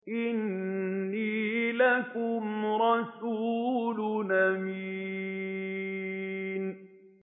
إِنِّي لَكُمْ رَسُولٌ أَمِينٌ